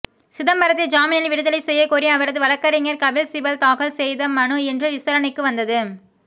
சிதம்பரத்தை ஜாமினில் விடுதலை செய்யக்கோரி அவரது வழக்கறிஞர் கபில் சிபல் தாக்கல் செய்த மனு இன்று விசாரணைக்கு வந்தது